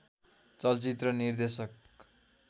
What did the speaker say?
चलचित्र निर्देशक